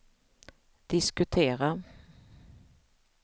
diskutera